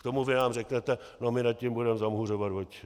K tomu vy nám řeknete: no my nad tím budeme zamhuřovat oči.